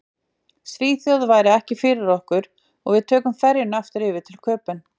Svíþjóð væri ekki fyrir okkur og við tókum ferjuna aftur yfir til Köben.